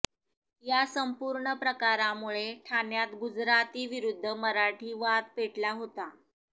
या संपूर्ण प्रकारामुळे ठाण्यात गुजराती विरुद्ध मराठी वाद पेटला होता